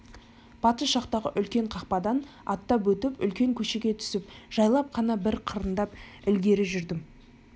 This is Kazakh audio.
батыс жақтағы үлкен қақпадан аттап өтіп үлкен көшеге түсіп жайлап қана бір қырындап ілгері жүрдім